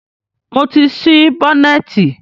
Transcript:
Mo ti ṣí bọ́nẹ̀tì.